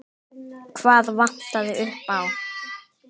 Hvað vantaði upp á?